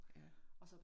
Ja